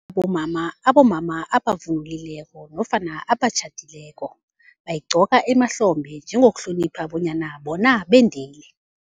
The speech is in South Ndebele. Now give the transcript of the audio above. Bomama, abomama abavunulileko nofana abatjhadileko, bayigqoka emahlombe njengokuhlonipha bonyana bona bendile.